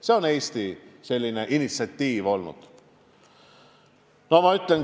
See on Eesti initsiatiiv olnud.